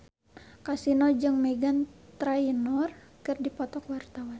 Kasino jeung Meghan Trainor keur dipoto ku wartawan